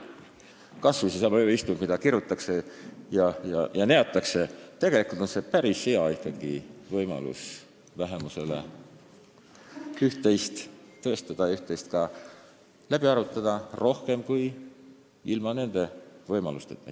Kas või seesama ööistung, mida kirutakse ja neetakse, on vähemuse päris hea võimalus üht-teist tõestada, üht-teist ka rohkem läbi arutada, kui saaks teha ilma selle võimaluseta.